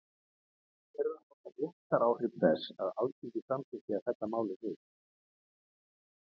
En hver eru réttaráhrif þess að Alþingi samþykki að fella málið niður?